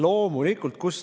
Loomulikult!